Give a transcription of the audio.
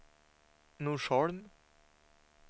Norsholm